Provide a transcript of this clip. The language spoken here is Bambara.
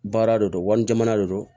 Baara de don wali jamana de don